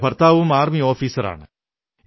എന്റെ ഭർത്താവും ആർമി ഓഫീസറാണ്